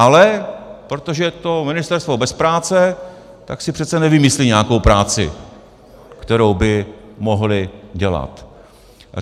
Ale protože je to ministerstvo bez práce, tak si přece nevymyslí nějakou práci, kterou by mohli dělat.